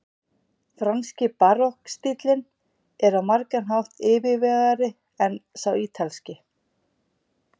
franski barokkstíllinn er á margan hátt yfirvegaðri en sá ítalski